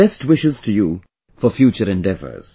Best wishes to you for future endeavours